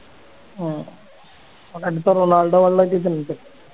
ഓൻ അടുത്ത റൊണാൾഡോ ആവാൻ ഒള്ള ഒരു ഇത് ഇണ്ട്